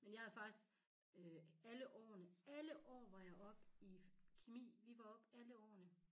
Men jeg havde faktisk øh alle årene alle år var jeg op i kemi vi var op alle årene